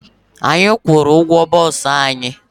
Anyị kwụru ụgwọ boosu anyị